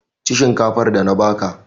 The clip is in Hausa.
Ci shinkafar da na ba ka!